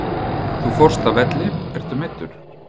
Þú fórst af velli, ertu meiddur?